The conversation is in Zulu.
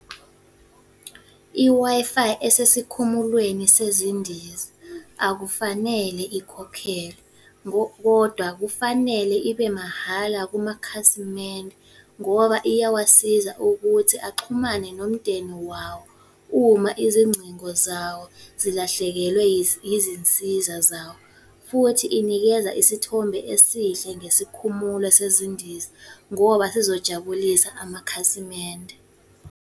I-Wi-Fi esesikhumulweni sezindiza. Akufanele ikhokhelwe, kodwa kufanele ibe mahhala kumakhasimende, ngoba iyawasiza ukuthi axhumane nomndeni wawo uma izingcingo zawo zilahlekelwe izinsiza zawo. Futhi inikeza isithombe esihle ngesikhumulo sezindiza ngoba sizojabulisa amakhasimende.